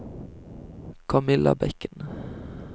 Kamilla Bekken